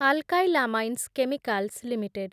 alkyl amines chemicals limited